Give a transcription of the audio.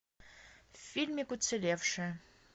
фильмик уцелевшая